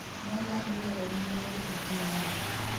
noland loroni wendn gi nying